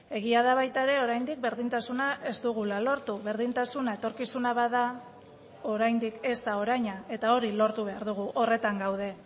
egia da baita ere oraindik berdintasuna ez dugula lortu berdintasuna etorkizuna bada oraindik ez da oraina eta hori lortu behar dugu horretan gaude